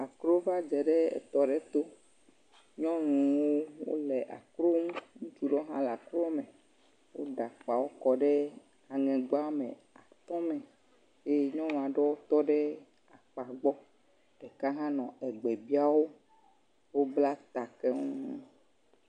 akro va dze ɖe etɔ aɖe to, nyɔnuwo wole akro ŋu, ŋutsu aɖewo hã wole akro me, woɖe akpawo kɔ ɖe aŋegba me ye nyɔnu aɖewo tɔ ɖe akpa gbɔ ɖeka nɔ gbe biam wo, wobla ta keŋ.